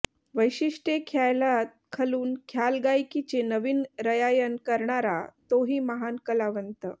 वेशिष्ट्ये ख्यालात खलून ख्यालगायकीचे नवीन रयायन करणारा तोही महान कलावंत